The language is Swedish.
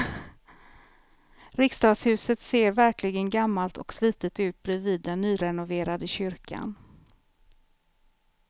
Riksdagshuset ser verkligen gammalt och slitet ut bredvid den nyrenoverade kyrkan.